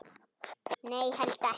Nei, held ekki.